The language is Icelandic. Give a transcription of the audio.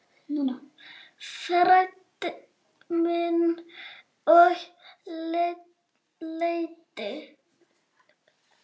Fræddi mig og leiddi.